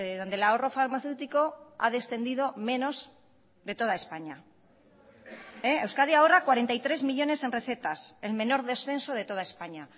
donde el ahorro farmaceútico ha descendido menos de toda españa euskadi ahorra cuarenta y tres millónes en recetas el menor descenso de toda españa